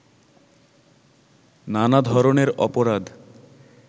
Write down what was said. নানা ধরনের অপরাধ